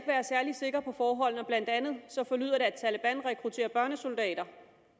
være særlig sikker på forholdene blandt andet forlyder det at taleban rekrutterer børnesoldater